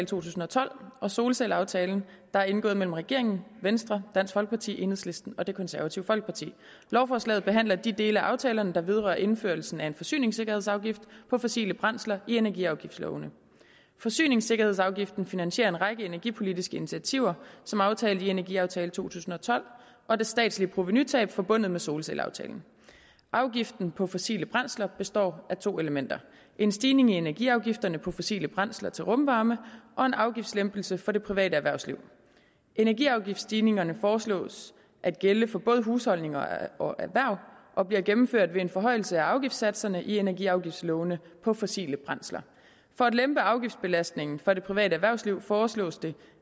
tusind og tolv og solcelleaftalen der er indgået mellem regeringen venstre dansk folkeparti enhedslisten og det konservative folkeparti lovforslaget behandler de dele af aftalerne der vedrører indførelsen af en forsyningssikkerhedsafgift på fossile brændsler i energiafgiftslovene forsyningssikkerhedsafgiften finansierer en række energipolitiske initiativer som aftalt i energiaftale to tusind og tolv og det statslige provenutab forbundet med solcelleaftalen afgiften på fossile brændsler består af to elementer en stigning i energiafgifterne på fossile brændsler til rumvarme og en afgiftslempelse for det private erhvervsliv energiafgiftsstigningerne foreslås at gælde for både husholdninger og erhverv og bliver gennemført ved en forhøjelse af afgiftssatserne i energiafgiftslovene på fossile brændsler for at lempe afgiftsbelastningen for det private erhvervsliv foreslås det